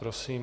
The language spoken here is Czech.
Prosím.